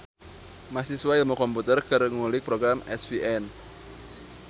Mahasiswa ilmu komputer keur ngulik program SVN